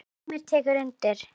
Heimir tekur undir.